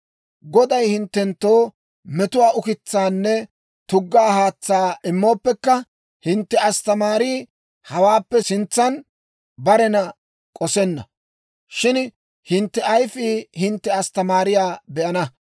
Goday hinttenttoo metuwaa ukitsaanne tuggaa haatsaa immooppekka, hintte asttamaarii hawaappe sintsan barena k'osenna. Shin hintte ayfii hintte asttamaariyaa be'ana.